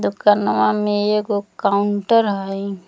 दोकनवा मे एगो काउंटर हई।